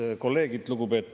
Head kolleegid!